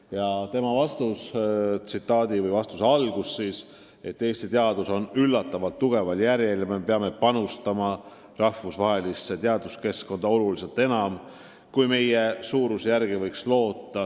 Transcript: Ja tema vastas: "Eesti teadus on üllatavalt tugeval järjel ja me panustame rahvusvahelisse teaduskeskkonda oluliselt enam, kui meie suuruse järgi võiks loota.